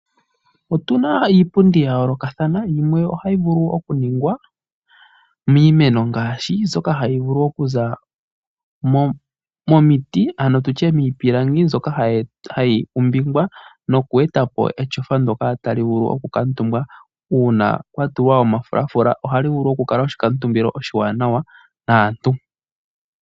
Otuna iipundi ya yoolokathana yimwe ohayi vulu okuningwa miimeno ngaashi mbyoka hayi vulu okuza momiti ano tutye miipilangi mbyoka hayi longwa noku etapo etyofa ndoka kwatulwa omafulafula ohali vulu okukala oshikuutumbitho shaantu.